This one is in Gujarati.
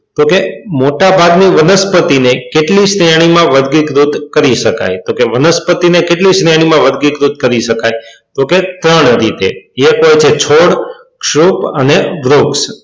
તો કે મોટાભાગની વનસ્પતિને કે કેટલી શ્રેણીમાં વર્ગીકૃત કરી શકાય તો કે વનસ્પતિને કેટલી શ્રેણીમાં વર્ગીકૃત કરી શકાય તો કે ત્રણ રીતે એક છે છોડ, ક્ષુપ અને વૃક્ષ.